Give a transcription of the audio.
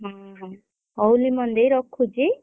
ହୁଁ ହଉ ଲିମନ ଦେଇ ରଖୁଛି?